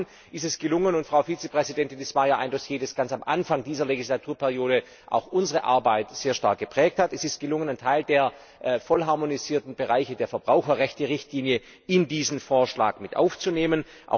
Zum Zweiten ist es gelungen und Frau Vizepräsidentin, das war ja ein Dossier, das ganz am Anfang dieser Legislaturperiode auch unsere Arbeit sehr stark geprägt hat, einen Teil der vollharmonisierten Bereiche der Verbraucherrechte Richtlinie in diesen Vorschlag mit aufzunehmen.